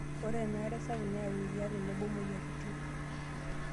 Ore ena are sapuk neyau eriaa tenebo moyiaritn.